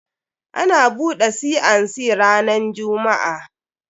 Ana buɗe C and C ranan jumm'a.